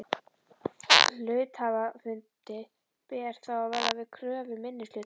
Hluthafafundi ber þá að verða við kröfu minnihlutans.